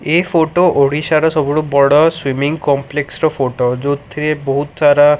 ଏ photo ଓଡ଼ିଶାର ସବୁଠୁ ବଡ଼ ସ୍ଵିମିଙ୍ଗ କମ୍ପ୍ଲେକ୍ସ୍ ର ଫୋଟୋ ଯୋଉଥିରେ ବହୁତ ସାରା --